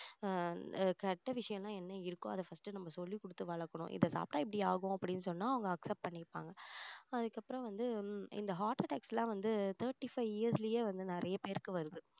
ஆஹ் கெட்ட விஷயம் எல்லாம் என்ன இருக்கோ அதை first நம்ம சொல்லிக் கொடுத்து வளர்க்கணும் இதை சாப்பிட்டா இப்படி ஆகும் அப்படின்னு சொன்னா அவங்க accept பண்ணிப்பாங்க அதுக்கப்புறம் வந்து இந்த heart attacks எல்லாம் வந்து thirty five years லயே வந்து நிறைய பேருக்கு வருது